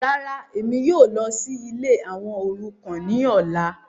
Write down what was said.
Ràrà, Emi yóò lọ si ìlé awọn orukan ni ọla